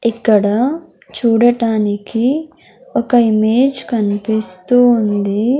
ఇక్కడ చూడటానికి ఒక ఇమేజ్ కనిపిస్తూ ఉంది.